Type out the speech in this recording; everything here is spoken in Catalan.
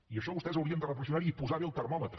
i això vostès haurien de reflexionar hi i posar bé el termòmetre